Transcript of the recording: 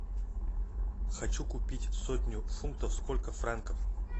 хочу купить сотню фунтов сколько франков